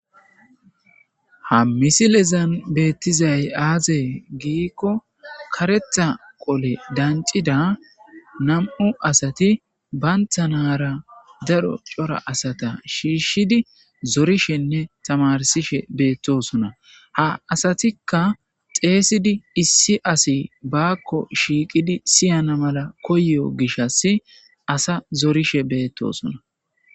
ha misilezan beettizay aazee giikko karetha qole dancida nam7u asati bayntanaara daro cora asata shiishshidi zorishenne tamarsishe beettosona ha asatikka xeeysidi issi asi baakko shiiqidi siyana mala koyo gishas asa zorishe bettosona